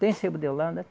Tem sebo de Holanda?